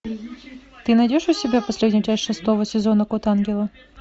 ты найдешь у себя последнюю часть шестого сезона код ангела